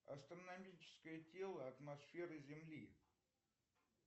астрономическое тело атмосферы земли